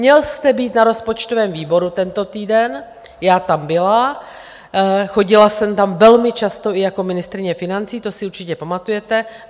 Měl jste být na rozpočtovém výboru tento týden, já tam byla, chodila jsem tam velmi často i jako ministryně financí, to si určitě pamatujete.